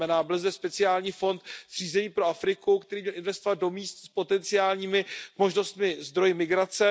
To znamená, byl zde speciální fond zřízený pro Afriku, který by měl investovat do míst s potenciálními možnostmi a zdroji migrace.